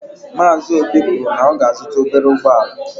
Maazi óbì kwụrụ na ọ ga -azuta ọbere ụgbọala.